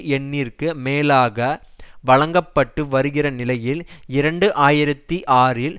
எண்ணிற்கு மேலாக வழங்க பட்டு வருகிற நிலையில் இரண்டு ஆயிரத்தி ஆறில்